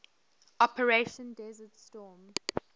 operation desert storm